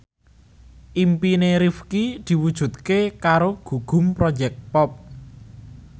impine Rifqi diwujudke karo Gugum Project Pop